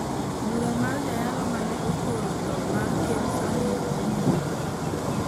Bura mar jayalo ma ne okoro tho mar ker Sernik dhi nyime